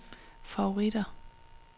favoritter